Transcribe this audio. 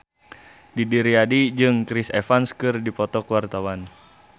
Didi Riyadi jeung Chris Evans keur dipoto ku wartawan